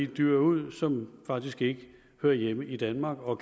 dyr ud som faktisk ikke hører hjemme i danmark og